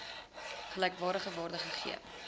gelykwaardige waarde gegee